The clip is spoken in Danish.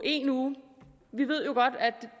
i en uge og vi ved jo godt at